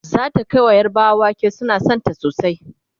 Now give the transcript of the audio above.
zata Kai wa yarbawa wake suna da Santa sosai